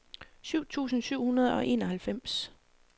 syv tusind syv hundrede og enoghalvfems